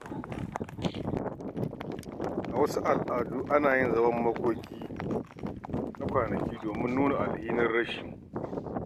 A wasu al’adu, ana yin zaman makoki na kwanaki domin nuna alhinin rashi.